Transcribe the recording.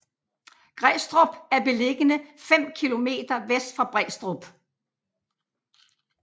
Grædstrup er beliggende fem kilometer vest for Brædstrup